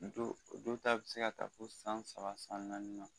Do do ta bi se ka taa fo san saba san naani na.